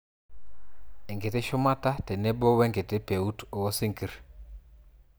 enkiti shumata tenebo wenkiti peut oosinkir